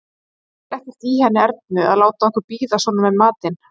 Ég skil ekkert í henni Ernu að láta okkur bíða svona með matinn!